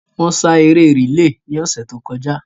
Wọ́n sá eré rìlé ni ọ̀sẹ̀ tó kọjá